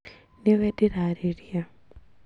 Nĩwe ndĩrarĩria